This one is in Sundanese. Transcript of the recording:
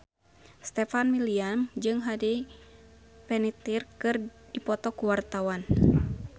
Stefan William jeung Hayden Panettiere keur dipoto ku wartawan